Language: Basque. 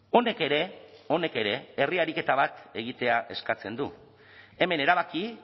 honek ere honek ere herri ariketa bat egitea eskatzen du hemen erabaki